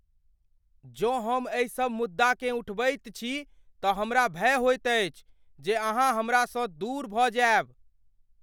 जँ हम एहिसब मुद्दाकेँ उठबैत छी तऽ हमरा भय होइत अछि जे अहाँ हमरासँ दूर भऽ जायब।